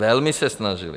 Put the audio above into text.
Velmi se snažili.